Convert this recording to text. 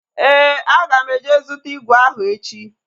Éè, aga m eje zụta ígwè ahụ echi